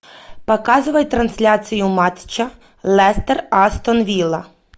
показывай трансляцию матча лестер астон вилла